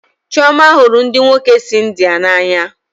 Chioma hụrụ ndị nwoke si India n'anya